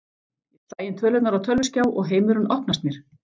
Ég slæ tölurnar inn á tölvuskjá og heimurinn opnast mér.